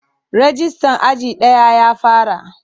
Rajistan aji daya ya fara.